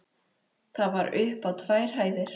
Það var upp á tvær hæðir.